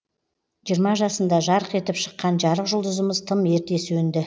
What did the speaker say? жиырма жасында жарқ етіп шыққан жарық жұлдызымыз тым ерте сөнді